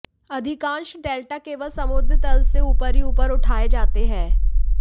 अधिकांश डेल्टा केवल समुद्र तल से ऊपर ही ऊपर उठाए जाते हैं